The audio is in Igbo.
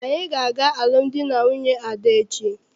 Anyị ga- aga alụmdi na nwunye Ada echi.